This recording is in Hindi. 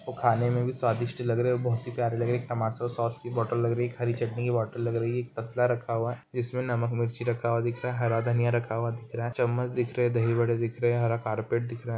और खाने में भी स्वादिष्ट लग रहा है। बहुत ही प्यारी लागे-- टमाटर सॉस की बॉटल लग रही हरी चटनी की बॉटल लग रही है टेस्ला रखा हुआ है जिसमें नमक मिर्ची रखा हुआ दिख रहा है हरा धनिया रखा हुआ दिख रहा है चम्मच दिख रहे दही बड़े दिख रहे हैं हरा कारपेट दिख रहा है।